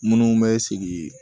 Minnu bɛ sigi